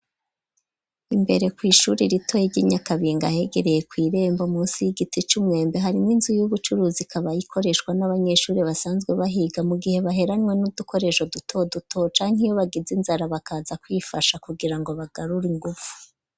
Imbere kw' ishuri ritoyi ,ry'inyakabinga, hegereye kw' irembo munsi y'igiti c'umwembe ,hari n'inzu y'ubucuruzi, ikaba ikoreshwa n'abanyeshuri basanzwe bahiga ,mu gihe baheranywe n'udukoresho ,duto duto canke iyo bagize inzara ,bakaza kwifasha kugira ngo bagarur' inguvu.